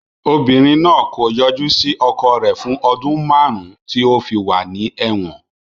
Obìnrin náà kò yọjú sí ọkọ rẹ̀ fún ọdún márùn-ún tí ó fi wà ní ẹ̀wọ̀n.